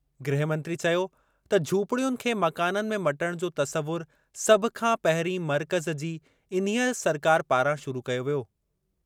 गृहमंत्री चयो त झूपड़ियुनि खे मकाननि में मटणु जो तसवुरु सभु खां पहिरीं मर्कज़ जी इन्हीअ सरकार पारां शुरू कयो वियो।